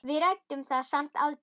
Við ræddum það samt aldrei.